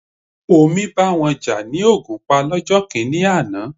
Omi bá wọn jà ní Ògùnpa lọ́jọ́ kìíní àná.